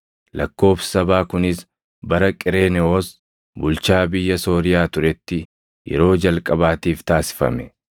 Lakkoobsi sabaa kunis bara Qereenewoos bulchaa biyya Sooriyaa turetti yeroo jalqabaatiif taasifame.